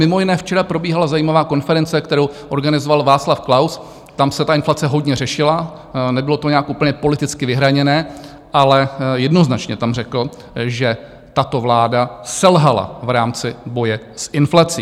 Mimo jiné včera probíhala zajímavá konference, kterou organizoval Václav Klaus, tam se ta inflace hodně řešila, nebylo to nějak úplně politicky vyhraněné, ale jednoznačně tam řekl, že tato vláda selhala v rámci boje s inflací.